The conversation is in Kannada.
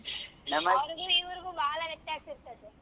ಅವ್ರ್ಗು ಇವ್ರ್ಗು ಬಾಳಾ ವ್ಯತ್ಯಾಸ್ ಇರ್ತದೆ.